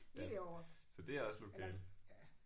Lige derovre eller ja